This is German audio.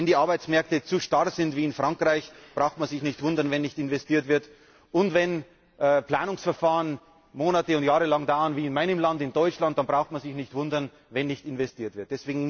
Wenn die Arbeitsmärkte zu starr sind, wie in Frankreich, braucht man sich nicht zu wundern, wenn nicht investiert wird. Und wenn Planungsverfahren Monate und Jahre dauern wie in meinem Land, in Deutschland, braucht man sich nicht zu wundern, wenn nicht investiert wird.